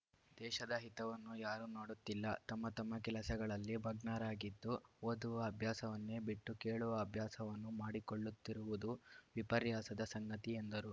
ದೇಶದ ಹಿತವನ್ನು ಯಾರೂ ನೋಡುತ್ತಿಲ್ಲ ತಮ್ಮ ತಮ್ಮ ಕೆಲಸಗಳಲ್ಲಿ ಮಗ್ನರಾಗಿದ್ದು ಓದುವ ಅಭ್ಯಾಸವನ್ನೇ ಬಿಟ್ಟು ಕೇಳುವ ಅಭ್ಯಾಸವನ್ನು ಮಾಡಿಕೊಳ್ಳುತ್ತಿರುವುದು ವಿಪರ್ಯಾಸದ ಸಂಗತಿ ಎಂದರು